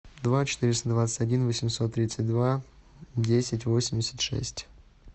два четыреста двадцать один восемьсот тридцать два десять восемьдесят шесть